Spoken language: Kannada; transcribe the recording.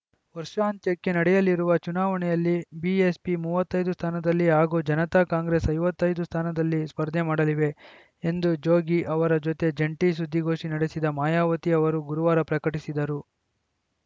ವರ್ಷಾಂತ್ಯಕ್ಕೆ ನಡೆಯಲಿರುವ ಚುನಾವಣೆಯಲ್ಲಿ ಬಿಎಸ್‌ಪಿ ಮೂವತ್ತ್ ಐದು ಸ್ಥಾನದಲ್ಲಿ ಹಾಗೂ ಜನತಾ ಕಾಂಗ್ರೆಸ್‌ ಐವತ್ತ್ ಐದು ಸ್ಥಾನದಲ್ಲಿ ಸ್ಪರ್ಧೆ ಮಾಡಲಿವೆ ಎಂದು ಜೋಗಿ ಅವರ ಜತೆ ಜಂಟಿ ಸುದ್ದಿಗೋಷ್ಠಿ ನಡೆಸಿದ ಮಾಯಾವತಿ ಅವರು ಗುರುವಾರ ಪ್ರಕಟಿಸಿದರು